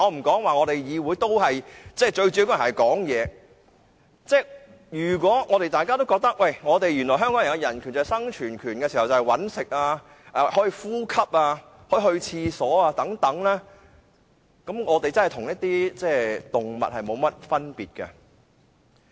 我們在議會最主要的職能是發言，如果大家都覺得香港的人權指的是生存權，包括"搵食"、呼吸、如廁等，我們便真的與動物沒有分別。